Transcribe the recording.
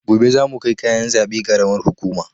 Gobe zamu kai kayan zaɓe karamar hukuma